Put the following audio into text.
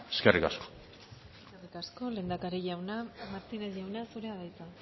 eskerrik asko mila esker lehendakari jauna martínez jauna zurea da hitza